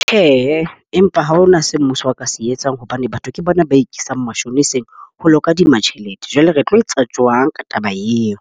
Tjhe, empa ha hona se mmuso o ka se etsang hobane batho ke bona ba ikisang mashoniseng ho lo kadima tjhelete. Jwale re tlo etsa jwang ka taba eo?